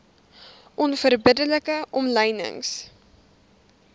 onverbidde like omlynings